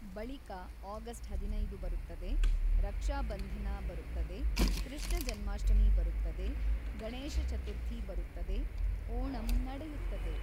ಬಳಿಕ ಆಗಸ್ಟ್ ಹದಿನೈದು ಬರುತ್ತದೆ, ರಕ್ಷಾ ಬಂಧನ ಬರುತ್ತದೆ, ಕೃಷ್ಣ ಜನ್ಮಾಷ್ಟಮಿ ಬರುತ್ತದೆ, ಗಣೇಶಚತುರ್ಥಿ ಬರುತ್ತದೆ, ಓಣಂ ನಡೆಯುತ್ತದೆ.